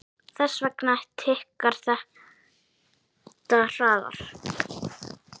Þess vegna tikkar þetta hraðar.